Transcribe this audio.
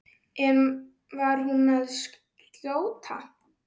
En var hún að skjóta?